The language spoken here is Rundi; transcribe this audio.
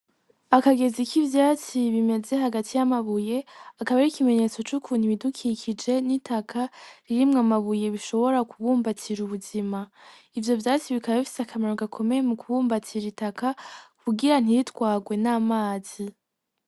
Akageza k'ivyatsi bimeze hagati y'amabuye akaba ari ikimenyetso c'ukuntu ibidukikije n'itaka ririmwo amabuye bishobora kubumbatsira ubuzima ivyo vyatsi bikaba bifise akamaro gakomeye mu kubumbatsira itaka kukugira ntiritwarwe n'amazi.